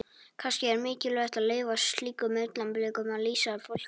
Kannski er mikilvægt að leyfa slíkum augnablikum að lýsa fullkomnun.